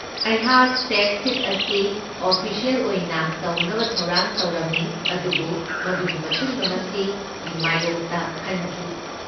ꯑꯩꯍꯥꯛ tax sheet ꯑꯁꯤ official ꯑꯣꯏꯅ ꯇꯧꯅꯕ ꯊꯧꯔꯥꯡ ꯇꯧꯔꯝꯃꯤ ꯑꯗꯨꯕꯨ ꯃꯗꯨꯒꯤ ꯃꯇꯨꯡꯗ ꯃꯁꯤꯒꯤ ꯃꯥꯌꯣꯛꯇ ꯈꯟꯈꯤ꯫